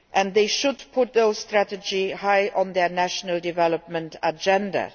they should put those strategies high on their national development agenda.